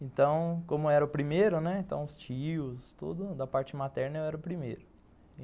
Então, como eu era o primeiro, né, então os tios, tudo da parte materna, eu era o primeiro.